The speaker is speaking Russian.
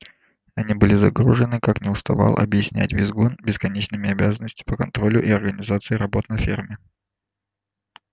они были загружены как не уставал объяснять визгун бесконечными обязанностями по контролю и организации работ на ферме